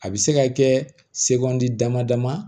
A bɛ se ka kɛ segu dama dama